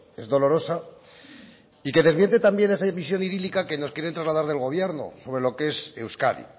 es dolorosa y que desmiente también esa visión idílica que nos quieren trasladar del gobierno sobre lo que es euskadi